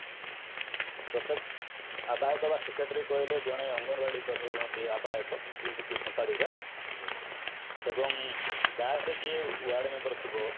ପ୍ରତ୍ୟେକ ଆବାହକ ବା secretary କହିଲେ ଜଣେ ଅଙ୍ଗନବାଡି କର୍ମୀ ରୁହନ୍ତି ଆବାହକ ଯିଏ କି ସମ୍ପାଦିକା ଏବଂ ଗାଁ ରେ ଯିଏ ୱାର୍ଡମେମ୍ବର ଥିବ